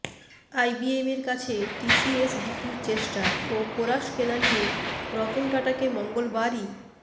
আইবিএমের কাছে টিসিএস বিক্রির চেষ্টা ও কোরাস কেনা নিয়ে রতন টাটাকে মঙ্গলবারই